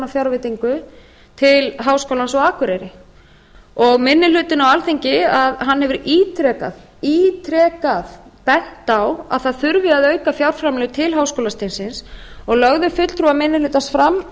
fjárveitingu til háskólans á akureyri minni hlutinn á alþingi hefur ítrekað bent á að það þurfi að auka fjárframlög til háskólastigsins og lögðu fulltrúar minni hlutans fram